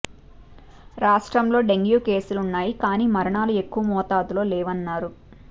రాష్ట్రంలో డెంగీ కేసులున్నాయి కానీ మరణాలు ఎక్కువ మోతాదులో లేవన్నారు